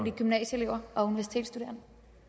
i gymnasieelever og universitetsstuderende